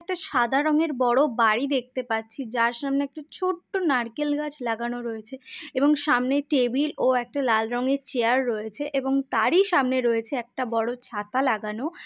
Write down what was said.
একটা সাদা রঙের বড় বাড়ি দেখতে পাচ্ছি যার সামনে একটি ছোট্ট নারকেল গাছ লাগানো রয়েছে এবং সামনে টেবিল ও একটা লাল রংয়ের চেয়ার রয়েছে । এবং তারই সামনে রয়েছে একটা বড় ছাতা লাগানো ।